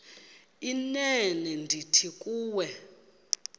inene ndithi kuwe